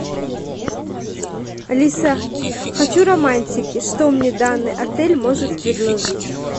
алиса хочу романтики что мне данный отель может предложить